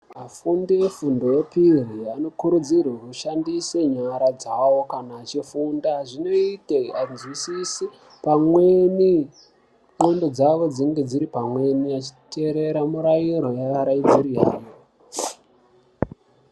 Vanfundi vefindo yechipiri vanokurudzirwa kushandise nyara dzavo kana vechifunda. Zvinoite vazwisise pamwe nendxondo dzavo dziri pamwe vechitere mirairo.